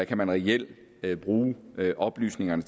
kan man reelt bruge oplysningerne